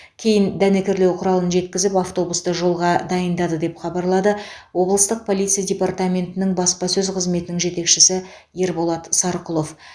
кейін дәнекерлеу құралын жеткізіп автобусты жолға дайындады деп хабарлады облыстық полиция департаментінің баспасөз қызметінің жетекшісі ерболат сарқұлов